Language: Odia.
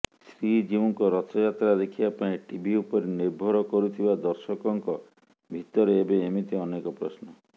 ଶ୍ରୀଜିଉଙ୍କ ରଥଯାତ୍ରା ଦେଖିବା ପାଇଁ ଟିଭି ଉପରେ ନିର୍ଭର କରୁଥିବା ଦର୍ଶକଙ୍କ ଭିତରେ ଏବେ ଏମିତି ଅନେକ ପ୍ରଶ୍ନ